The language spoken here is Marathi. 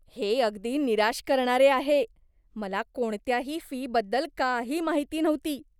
हे अगदी निराश करणारे आहे. मला कोणत्याही फीबद्दल काही माहिती नव्हती.